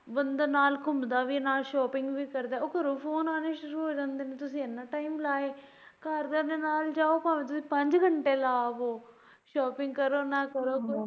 ਬੰਦਾ ਨਾਲ ਘੁੰਮਦਾ ਵੀ shopping ਵੀ ਕਰਦਾ ਉਹ ਘਰੋਂ ਫੋਨ ਆਣੇ ਸ਼ੁਰੂ ਹੋ ਜਾਂਦੇ ਨੇ ਤੁਸੀਂ ਏਨਾ time ਲਾ ਆਏ ਘਰਦਿਆਂ ਦੇ ਨਾਲ ਜਾਉ ਭਾਵੇਂ ਤੁਸੀਂ ਪੰਜ ਘੰਟੇ ਲਾ ਆਉ shopping ਕਰੋ ਨਾ ਕਰੋ।